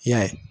I y'a ye